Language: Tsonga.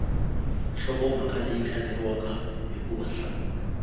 nhlokomhaka leyi kaneriwaka hikuva nhlamulo